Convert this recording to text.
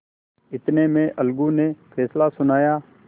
इतने में अलगू ने फैसला सुनाया